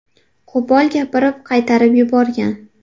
Qo‘pol gapirib, qaytarib yuborgan.